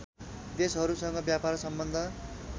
देशहरूसँग व्यापार सम्बन्ध